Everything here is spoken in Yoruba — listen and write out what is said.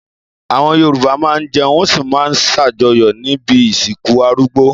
Àwọn Yorùbá máa ń jẹun wọ́n sì máa ń ṣàjọyọ̀ níbi ìsìnkú arúgbó.